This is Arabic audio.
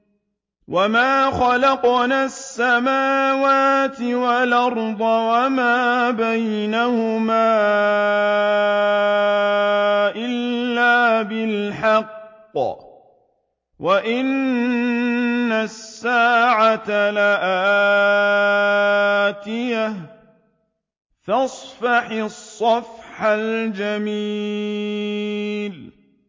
وَمَا خَلَقْنَا السَّمَاوَاتِ وَالْأَرْضَ وَمَا بَيْنَهُمَا إِلَّا بِالْحَقِّ ۗ وَإِنَّ السَّاعَةَ لَآتِيَةٌ ۖ فَاصْفَحِ الصَّفْحَ الْجَمِيلَ